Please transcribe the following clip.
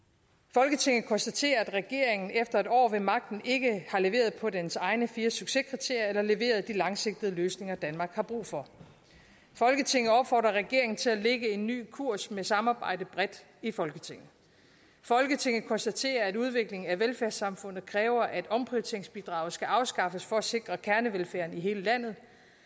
folketinget konstaterer at regeringen efter et år ved magten ikke har leveret på dens egne fire succeskriterier eller leveret de langsigtede løsninger danmark har brug for folketinget opfordrer regeringen til at lægge en ny kurs med samarbejde bredt i folketinget folketinget konstaterer at udviklingen af velfærdssamfundet kræver at omprioriteringsbidraget skal afskaffes for at sikre kernevelfærden i hele landet